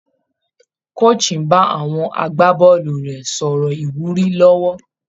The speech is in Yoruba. Coach ń bá àwọn agbábọ́ọ̀lù rẹ̀ sọ̀rọ̀ ìwúrí lọ́wọ́